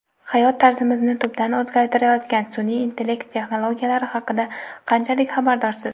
Hayot tarzimizni tubdan o‘zgartirayotgan sunʼiy intellekt texnologiyalari haqida qanchalik xabardorsiz?.